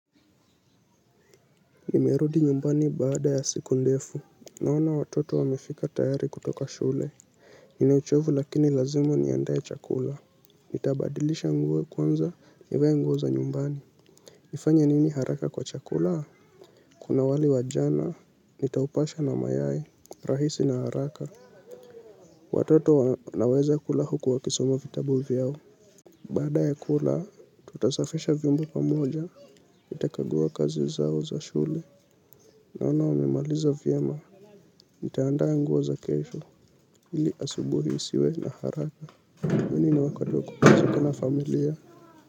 Nimerudi nyumbani baada ya siku ndefu. Naona watoto wamefika tayari kutoka shule. Ninauchovu lakini lazima niandae chakula. Nitabadilisha nguo kwanza nivae nguo za nyumbani. Nifanya nini haraka kwa chakula? Kuna wali wajana, nitaupasha na mayai, rahisi na haraka. Watoto wanaweza kula huku wakisoma vitabu vyao. Baada ya kula, tutasafisha vyombo pamoja nitakagua kazi zao za shule. Naona wamemaliza vyema. Nitaandaa nguo za kesho ili asubuhi nisiwe na haraka kwani ni wakati wa kupumzika na familia.